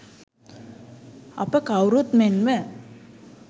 අප කවුරුත් මෙන්ම